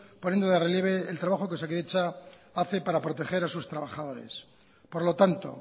poniendo de relieve el trabajo que osakidetza hace para proteger a sus trabajadores por lo tanto